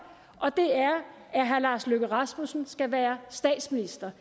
at herre lars løkke rasmussen skal være statsminister